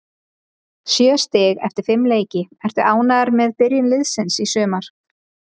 Sjö stig eftir fimm leiki, ertu ánægður með byrjun liðsins í sumar?